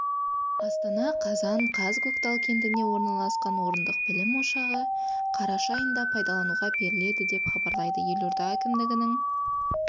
астана қазан қаз көктал кентінде орналасқан орындықбілім ошағы қараша айында пайдалануға беріледі деп хабарлайды елорда әкімдігінің